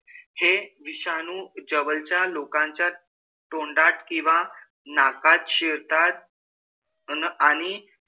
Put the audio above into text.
हे विषाणू जवळच्या लोकांच्या तोंडात किंवा नाकात शिरतात. अन आणि,